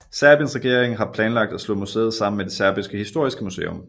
Serbiens regering har planlagt at slå museet sammen med det Serbiske historiske museum